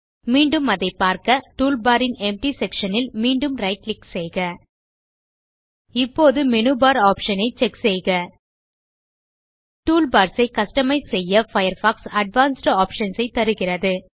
மீண்டும் அதை பார்க்க டூல் பார் ன் எம்ப்டி செக்ஷன் ல் மீண்டும் right கிளிக் செய்க இப்போது மேனு பார் ஆப்ஷன் ஐ செக் செய்க டூல்பார்ஸ் ஐ கஸ்டமைஸ் செய்ய பயர்ஃபாக்ஸ் அட்வான்ஸ்ட் ஆப்ஷன்ஸ் ஐத் தருகிறது